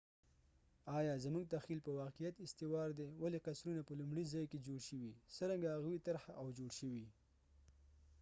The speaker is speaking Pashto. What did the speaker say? آیا زموږ تخیل په واقعیت استوار دي ولې قصرونه په لومړي ځای کې جوړ شوي څرنګه هغوۍ طرحه او جوړ شوي